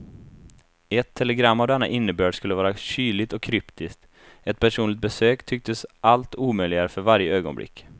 Ett telegram av denna innebörd skulle vara kyligt och kryptiskt, ett personligt besök tycktes allt omöjligare för varje ögonblick.